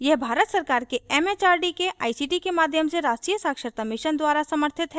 यह भारत सरकार के एमएचआरडी के आईसीटी के माध्यम से राष्ट्रीय साक्षरता mission द्वारा समर्थित है